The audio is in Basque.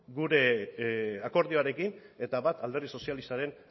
gure akordioarekin eta bat alderdi sozialistaren